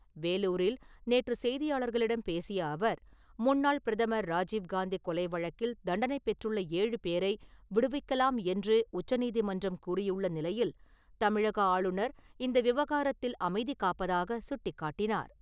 வேலூரில் நேற்று செய்தியாளர்களிடம் பேசிய அவர், முன்னாள் பிரதமர் ராஜீவ்காந்தி கொலை வழக்கில் தண்டனை பெற்றுள்ள ஏழு பேரை விடுவிக்கலாம் என்று உச்சநீதிமன்றம் கூறியுள்ள நிலையில், தமிழக ஆளுநர் இந்த விவகாரத்தில் அமைதி காப்பதாக சுட்டிக்காட்டினார்.